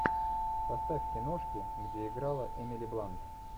поставь киношки где играла эмили блант